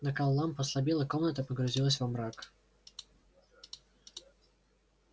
накал ламп ослабел и комната погрузилась во мрак